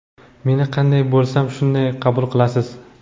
meni qanday bo‘lsam shunday qabul qilasiz.